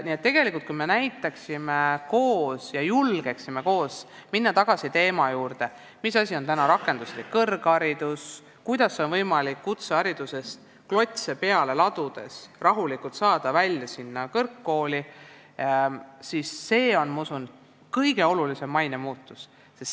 Nii et tegelikult, kui me julgeksime minna tagasi teema juurde, mis asi on rakenduslik kõrgharidus, kuidas on võimalik kutseharidusele klotse peale ladudes rahulikult jõuda kõrgkooli välja, siis see on, ma usun, kõige olulisem maine muutus.